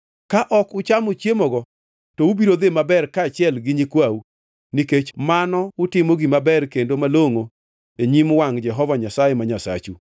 Ka ok uchamo chiemogo to ubiro dhi maber kaachiel gi nyikwau, nikech mano utimo gima ber kendo malongʼo e nyim wangʼ Jehova Nyasaye ma Nyasachu.